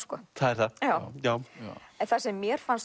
það er það já já en það sem mér fannst